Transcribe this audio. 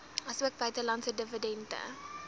asook buitelandse dividende